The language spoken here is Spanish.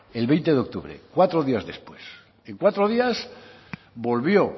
el veinte de octubre cuatro días después en cuatro días volvió